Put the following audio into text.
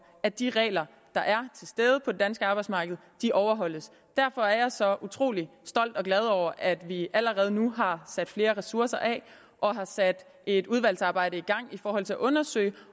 at de regler der er til stede på det danske arbejdsmarked overholdes derfor er jeg så utrolig stolt og glad over at vi allerede nu har sat flere ressourcer af og har sat et udvalgsarbejde i gang i forhold til at undersøge